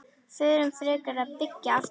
Förum frekar að byggja aftur.